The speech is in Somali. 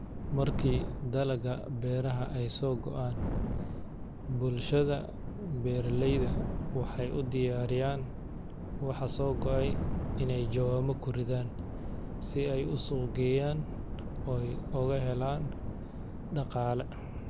Marko dalaqa beraxa, ay sogoaan, bulshasha beraleydha waxau udiyariyan, waxaa sogoay inay jawano kuridhan, si ay usuqgeyan oy oguxelan daqala.